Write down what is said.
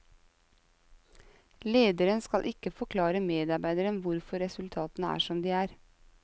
Lederen skal ikke forklare medarbeideren hvorfor resultatene er som de er.